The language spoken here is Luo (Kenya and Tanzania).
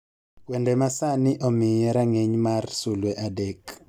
wende ma sani omiye rang'iny mar sulwe adek